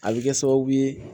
A bɛ kɛ sababu ye